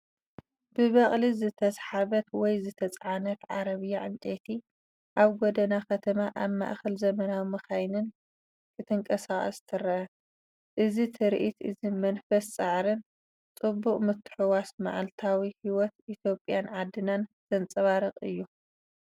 ብበቕሊ ዝተሰሓበት ወይ ዝተጻዕነት ዓረብያ ዕንጨይቲ፡ ኣብ ጎደና ከተማ ኣብ ማእከል ዘመናዊ መካይን ክትንቀሳቐስ ትረአ። እዚ ትርኢት እዚ መንፈስ ጻዕሪን ጽቡቕ ምትሕውዋስ መዓልታዊ ህይወት ኢትዮጵያን ዓድናን ዘንጸባርቕ እዩ!